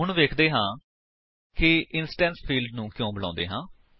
ਹੁਣ ਵੇਖਦੇ ਹਾਂ ਕਿ ਇੰਸਟੈਂਸ ਫਿਲਡਸ ਨੂੰ ਕਿਉਂ ਬੁਲਾਉਂਦੇ ਹਨ